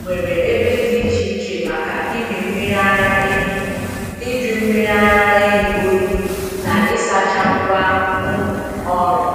nwere ebe dị iche iche maka ịmị mmiri ara ehi, ịjụ mmiri ara ehi oyi, na ịsacha ngwa um ọrụ.